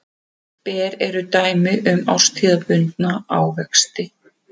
Ber eru dæmi um árstíðabundna ávexti.